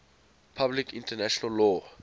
public international law